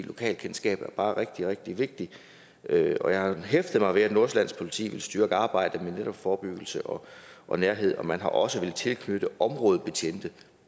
lokalkendskabet er bare rigtig rigtig vigtigt og jeg har hæftet mig ved at nordsjællands politi vil styrke arbejdet med netop forebyggelse og og nærhed og man har også villet tilknytte områdebetjente i